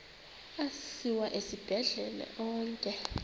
asiwa esibhedlele onke